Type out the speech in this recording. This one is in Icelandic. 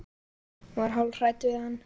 Hún var hálf hrædd við hann.